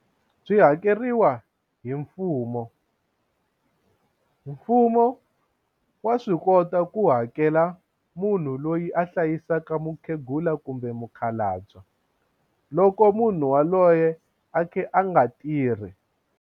Byi hakeriwa hi mfumo, mfumo wa swi kota ku hakela munhu loyi a hlayisaka mukhegula kumbe mukhalabye loko munhu waloye a khe a nga tirhi.